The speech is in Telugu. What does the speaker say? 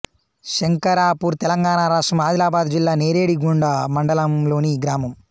శంకరాపూర్ తెలంగాణ రాష్ట్రం ఆదిలాబాద్ జిల్లా నేరడిగొండ మండలంలోని గ్రామం